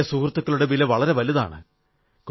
പഴയ സുഹൃത്തുക്കളുടെ വില വളരെ വലുതാണ്